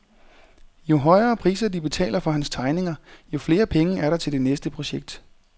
Jo højere priser de betaler for hans tegninger, jo flere penge er der til det næste projekt.